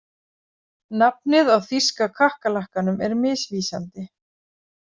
Nafnið á þýska kakkalakkanum er misvísandi.